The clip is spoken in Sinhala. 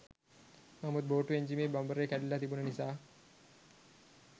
නමුත් බෝට්ටු එන්ජිමේ බඹරේ කැඩිලා තිබුණ නිසා